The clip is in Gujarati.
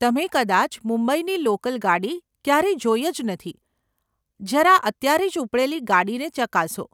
તમે કદાચ મુંબઈની લોકલ ગાડી ક્યારેય જોઈ જ નથી. જરા અત્યારે જ ઉપડેલી ગાડીને ચકાસો.